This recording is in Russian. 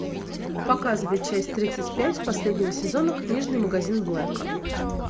показывай часть тридцать пять последнего сезона книжный магазин блэка